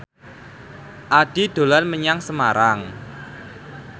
Addie dolan menyang Semarang